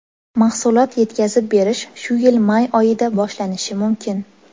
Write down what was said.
Mahsulot yetkazib berish shu yil may oyida boshlanishi mumkin.